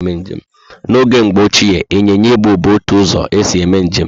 N'oge Mgbo Ochié ,Inyịnya Ibu bu otu ụzọ esi eme njem